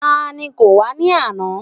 Ta ni kò wá ní àná?